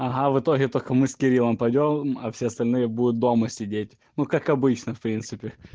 ага в итоге только мы с кириллом пойдём а все остальные будут дома сидеть ну как обычно в принципе